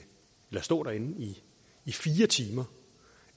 stå derinde i fire timer